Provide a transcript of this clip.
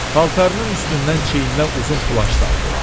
Paltarının üstündən çiyninə uzun plaş saldı.